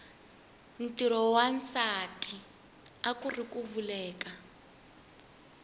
ntirho wa nwasati akuuri ku veleka